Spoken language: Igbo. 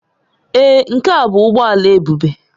Èé, nke a bụ ụgbọ ala Ebube